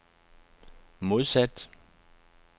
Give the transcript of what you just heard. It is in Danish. modsat